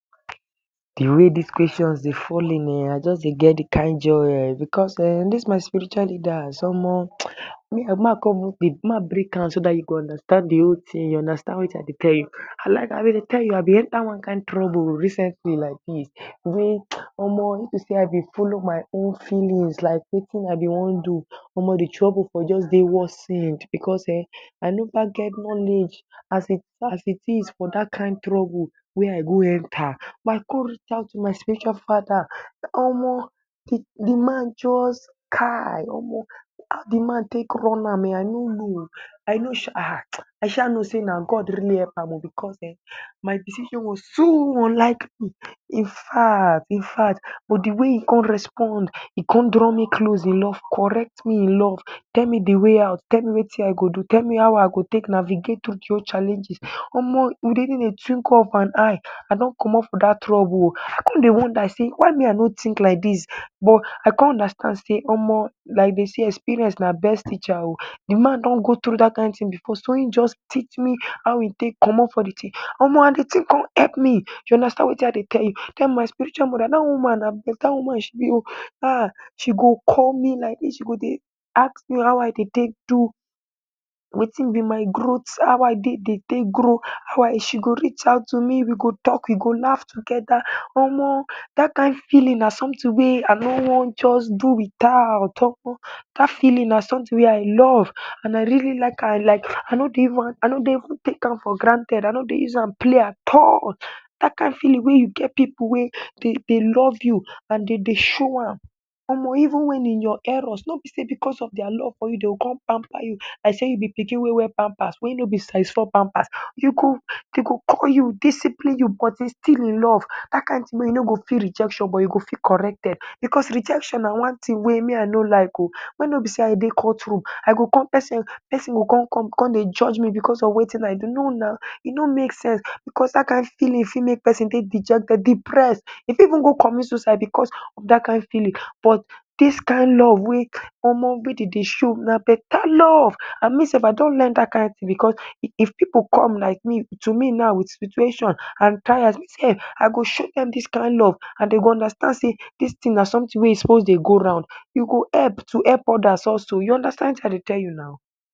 The way dis Kweshons dey fall in ehn! I just dey get the kin joy. Because mehn! Dis my spiritual leaders — omo! May I break am so dat you go understand de whole tin, you understand wetin I dey tell you? Like how I dey tell, I be enter one kin trouble recently like dis. Wey omo! If to say I dey follow my own feeling like wetin I be wan do, de trouble for just dey worse sef. Because ehn! I know say I never get knowledge as it is for dat kin trouble wey I go enter. But, I con reach out to my special Fada. Omo! De man just… kai! Omo! De way de man take run am ehn! I no know. I know say na — Ah! I sha know say na God really help am. Because ehn! My decision was too unlikely. Ah! In fact, with de way e con respond, in con draw me close in love, correct me in love, tell me de way out, tell me wetin I go do, tell me how I go navigate, get tru challenges — omo! Within a twinkle of an eye, I don comot for dat trouble oh! I con dey wonder say, why me I no think like dis? But, I con understand say omo! like dey say, experience na best teacher oh! De man don go tru dat jin tin. Because when he just teach me how e take comot for de tin — omo! and de tin con help me. You understand wetin I dey tell you? Dat my spiritual Moda, dat woman na beta woman she be oh! Ah! She go call me like dis. She go dey ask me how I dey take do, wetin be my growth, how I take dey grow. She go reach out to me, we go talk, we go laugh together. Omo! Dat kind feeling na something wey I no wan just do without. Omo! Dat feeling na something wey I love. And I really like am and… I no dey even take am for granted. I no dey use am play at all. Dat kin feeling wey you get pipu wey dey love you and dey dey show am — omo! even in your error. No be say because of their love dey go con pamper you like say you be pikin wey wear pampers wey no be size four pampers. Dey go call you, discipline you, but it’s still in love. Dat kin tin wey you no go feel rejection but you go feel corrected. Because rejection na one kin tin wey me I no like oh! When no be say I dey court room, I go con pesin, pesin go con come, con dey judge me because of wetin I do. No now, e no make sense. Because dat kin feeling fit make pesin feel dejected, depressed. E fit even commit suicide because of dat kin feeling. But dis kin love wey… wey dey dey show — na beta love. And me sef I don learn dat kin tin. Because if pipu come to me now with situation and tired, me too now go show dem dis kin love. And dey go understand say dis tin na something wey e suppose dey go round. You go help to help others also. You understand dat kin tin I dey tell you.